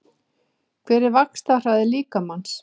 Hver er vaxtarhraði líkamans?